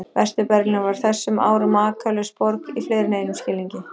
Vestur-Berlín var á þessum árum makalaus borg í fleiri en einum skilningi.